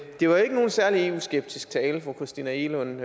det var ikke nogen særlig eu skeptisk tale fru christina egelund